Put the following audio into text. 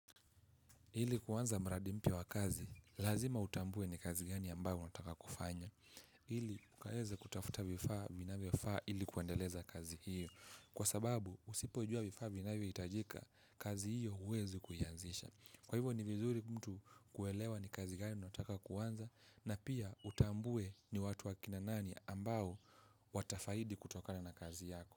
Ili kuwanza mradi mpya wa kazi, lazima utambue ni kazi gani ambayo unataka kufanya ili mukaweze kutafuta vifaa vinavyo faa ili kuandeleza kazi hiyo. Kwa sababu usipojua vifaa vinavyo itajika, kazi hiyo uwezi kuianzisha. Kwa hivyo ni vizuri mtu kuelewa ni kazi gani nataka kuanza. Na pia utambue ni watu wa kina nani ambayo watafaidi kutokana na kazi yako.